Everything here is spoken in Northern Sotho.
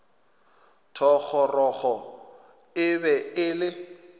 thogorogo e be e le